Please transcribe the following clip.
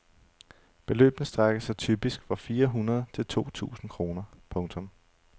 Beløbene strækker sig typisk fra fire hundrede til to tusinde kroner. punktum